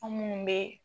An minnu be